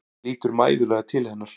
Lítur mæðulega til hennar.